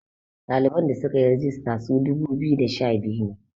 ɗaliban da suka yi regista su dubu biyu da sha biyu ne